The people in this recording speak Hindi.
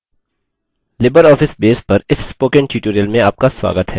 libreoffice base पर इस spoken tutorial में आपका स्वागत है